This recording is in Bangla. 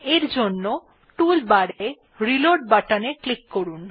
এর জন্য টুল বার এর রিলোড বাটনে ক্লিক করুন